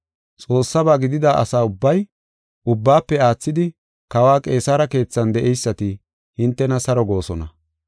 Xoossaba gidida asa ubbay, ubbaafe aathidi Kawa Qeesare keethan de7eysati hintena saro goosona.